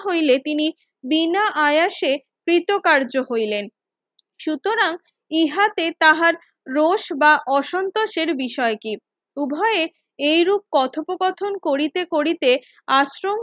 হইলে তিনি বিনা আয়াসে পরীতকার্য হইলেন সুতরাং ইহাতে তাহার রোষ বা অসন্তোষের বিষয় কি উভয়ে এইরূপ কথোপ কথন করিতে করিতে আশ্রম হইতে